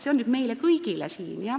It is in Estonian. See on küsimus meile kõigile siin.